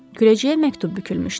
Küləcəyə məktub bükülmüşdü.